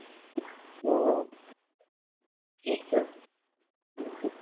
হম আচ্ছা আচ্ছা